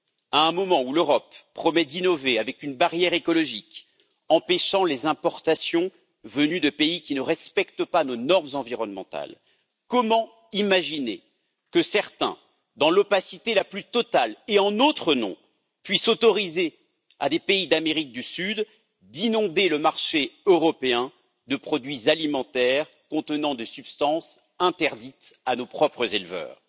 À un moment où l'Europe promet d'innover avec une barrière écologique, empêchant les importations venues de pays qui ne respectent pas nos normes environnementales, comment imaginer que certains, dans l'opacité la plus totale et en notre nom, puissent autoriser des pays d'Amérique du Sud à inonder le marché européen de produits alimentaires contenant des substances interdites à nos propres éleveurs?